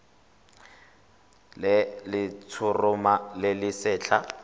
le letshoroma le le setlha